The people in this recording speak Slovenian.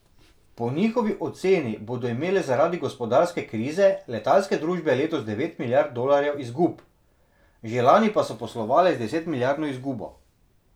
Po njihovi oceni bodo imele zaradi gospodarske krize letalske družbe letos devet milijard dolarjev izgub, že lani pa so poslovale z desetmilijardno izgubo.